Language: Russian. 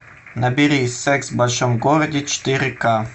набери секс в большом городе четыре ка